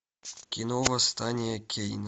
кино восстание кейна